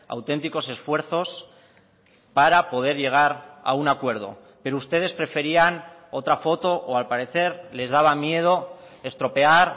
auténticos esfuerzos para poder llegar a un acuerdo pero ustedes preferían otra foto o al parecer les daba miedo estropear